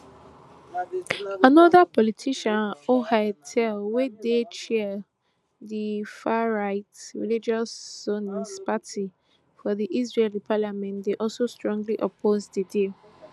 anoda politician ohad tal wey dey chair di farright religious zionist party for di israeli parliament dey also strongly oppose di deal